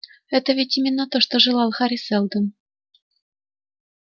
это ведь именно то что желал хари сэлдон